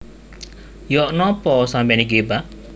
Yok nopo sampeyan iki Pak